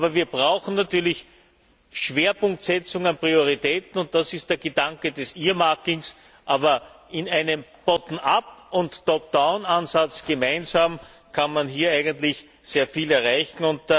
Aber wir brauchen natürlich Schwerpunktsetzungen und Prioritäten, und das ist der Gedanke des Earmarking aber mit einem Bottom up und Top down Ansatz gemeinsam kann man hier eigentlich sehr viel erreichen.